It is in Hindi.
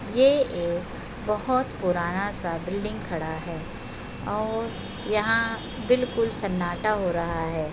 ये एक बहोत पुराना सा बिल्डिंग खड़ा है और यहाँ बिलकुल सन्नाटा हो रहा है।